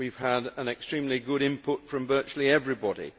We have had extremely good input from virtually everybody.